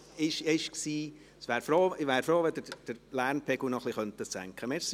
Ich wäre froh, wenn Sie den Lärmpegel etwas senken könnten.